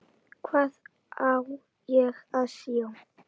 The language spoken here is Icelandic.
Hvað á ég að sjá?